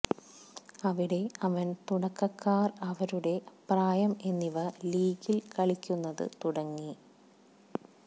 അവിടെ അവൻ തുടക്കക്കാർ അവരുടെ പ്രായം എന്നിവ ലീഗിൽ കളിക്കുന്നത് തുടങ്ങി